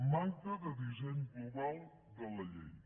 manca de disseny global de la llei